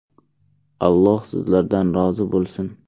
Alloh sizlardan rozi bo‘lsin.